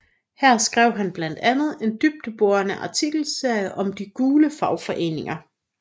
Her skrev han blandt andet en dybdeborende artikelserie om de gule fagforeninger